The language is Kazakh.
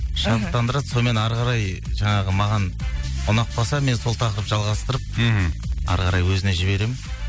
шабыттандырады сонымен әрі қарай жаңағы маған ұнап қалса мен сол тақырыпты жалғастырып мхм әрі қарай өзіне жіберемін